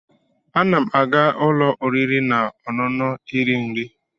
Ana m aga ụlọ oriri na ọṅụṅụ iri nri.